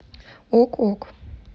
ок ок